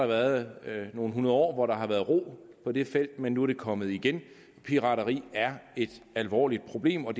været nogle hundrede år hvor der har været ro på det felt men nu er det kommet igen pirateri er et alvorligt problem og